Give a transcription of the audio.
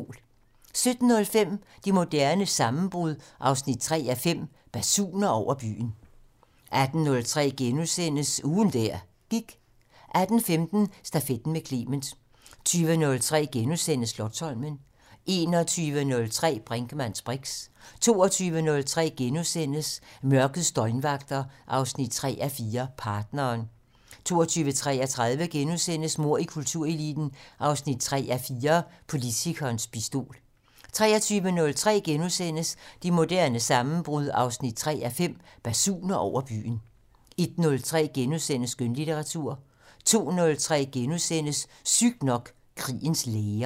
17:05: Det moderne sammenbrud 3:5 - Basuner over byen 18:03: Ugen der gik * 18:15: Stafetten med Clement 20:03: Slotsholmen * 21:03: Brinkmanns briks 22:03: Mørkets døgnvagter 3:4 - Partneren * 22:33: Mord i kultureliten 3:4 - Politikerens pistol * 23:03: Det moderne sammenbrud 3:5 - Basuner over byen * 01:03: Skønlitteratur * 02:03: Sygt nok: Krigens læger *